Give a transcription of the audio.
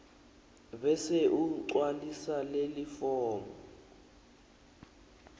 bese ugcwalisa lelifomu